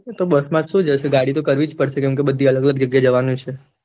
તો બસમાં તો શું જશે ગાડી તો કરવી જ પડશે કેમ કે બધી અલગ અલગજગ્યા એ જવાનું છે.